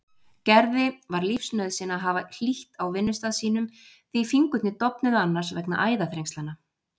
Gerði var lífsnauðsyn að hafa hlýtt á vinnustað sínum því fingurnir dofnuðu annars vegna æðaþrengslanna.